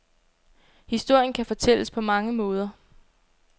Historien kan fortælles på mange måder.